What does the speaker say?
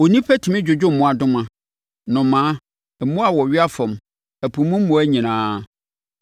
Onipa tumi dwodwo mmoadoma, nnomaa, mmoa a wɔwea fam, ɛpo mu mmoa nyinaa,